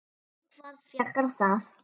Um hvað fjallar það?